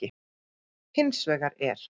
Hins vegar er